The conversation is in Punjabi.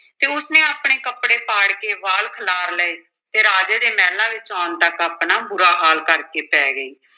ਤੇ ਉਸ ਨੇ ਆਪਣੇ ਕੱਪੜੇ ਪਾੜ ਕੇ ਵਾਲ ਖਿਲਾਰ ਲਏ ਤੇ ਰਾਜੇ ਦੇ ਮਹਿਲਾਂ ਵਿੱਚ ਆਉਣ ਤੱਕ ਆਪਣਾ ਬੁਰਾ ਹਾਲ ਕਰਕੇ ਪੈ ਗਈ।